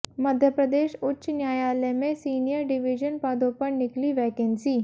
मध्य प्रदेश उच्च न्यायालय में सीनियर डिवीज़न पदों पर निकली वैकेंसी